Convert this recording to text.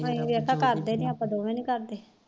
ਅਸੀ ਕਰਦੇ ਨੀ ਆਪਾ ਦੇਵੇ ਨੀ ਕਰਦੇ